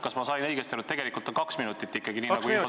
Kas ma sain õigesti aru, et tegelikult on ikkagi kaks minutit?